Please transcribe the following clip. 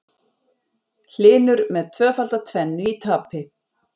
Hlynur með tvöfalda tvennu í tapi